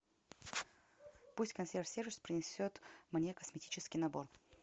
пусть консьерж сервис принесет мне косметический набор